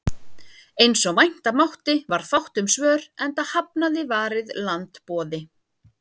Eins og vænta mátti varð fátt um svör, enda hafnaði Varið land boði